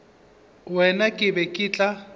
wena ke be ke tla